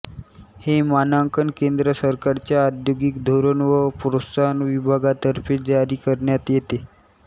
हे मानांकन केंद्र सरकारच्या औद्योगिक धोरण व प्रोत्साहन विभागातर्फे जारी करण्यात येते